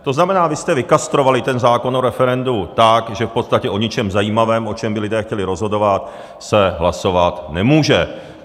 To znamená, vy jste vykastrovali ten zákon o referendu tak, že v podstatě o ničem zajímavém, o čem by lidé chtěli rozhodovat, se hlasovat nemůže.